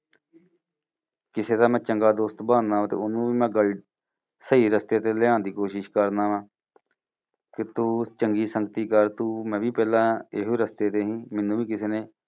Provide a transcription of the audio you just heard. ਕਿਸੇ ਦਾ ਮੈਂ ਚੰਗਾ ਦੋਸਤ ਬਣ ਨਾਲ ਤੇ ਓਹਨੂੰ ਵੀ ਮੈਂ guide ਗਲ ਸਹੀ ਰਸਤੇ ਤੇ ਲਿਆਉਣ ਦੀ ਕੋਸ਼ਿਸ਼ ਕਰਦਾ ਹਾਂ ਕਿ ਤੂੰ ਚੰਗੀ ਸੰਗਤੀ ਕਰ ਤੂੰ ਮੈਂ ਵੀ ਪਹਿਲਾਂ ਇਹੋ ਰਸਤੇ ਤੇ ਸੀ। ਮੈਨੂੰ ਵੀ ਕਿਸੇ ਨੇ